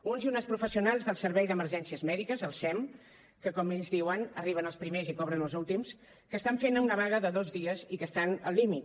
uns i unes professionals del servei d’emergències mèdiques el sem que com ells diuen arriben els primers i cobren els últims que estan fent una vaga de dos dies i que estan al límit